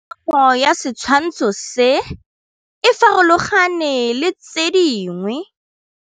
Popêgo ya setshwantshô se, e farologane le tse dingwe.